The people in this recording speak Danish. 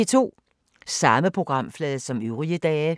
Samme programflade som øvrige dage